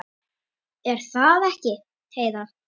Er það ekki, Heiða?